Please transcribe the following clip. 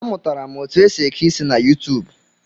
A mụtara m otu esi eke isi na YuuTuub